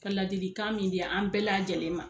Ka ladilikan min di an bɛɛ lajɛlen ma.